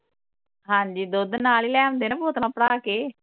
ਹਾਂ ਜੀ ਦੁੱਧ ਨਾਲ ਹੀ ਲੈ ਆਉਂਦੇ ਨਾਲ ਬੌਤਲਾਂ ਭਰਾ ਕੇ